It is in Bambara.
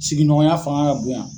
Sigiɲɔgɔnya fanga ka bon yan.